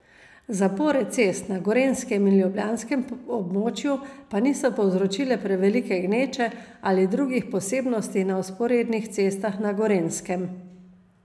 Zapore cest na gorenjskem in ljubljanskem območju pa niso povzročile prevelike gneče ali drugih posebnosti na vzporednih cestah na Gorenjskem.